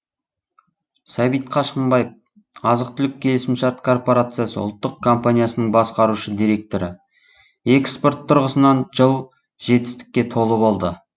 сәбит қашқымбаев азық түлік келісімшарт корпорациясы ұлттық компаниясының басқарушы директоры экспорт тұрғысынан жыл жетістікке толы болды